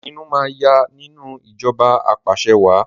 Ìpinnu máa yá nínú ìjọba apàṣẹwàá